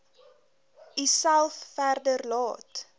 uself verder laat